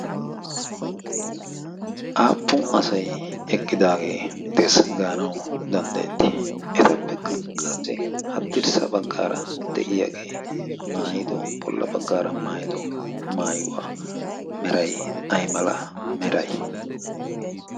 aappun asay eqqidaagee dees gaanau danddayetti? etapekka qassi haddirssa baggaara de'iyaagee maayido bolla baggaara maayido maayuwaa merai ay mala meray?